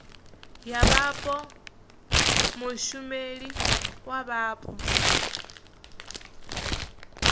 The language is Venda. ya vhapo mushumela wa vhapo